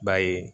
B'a ye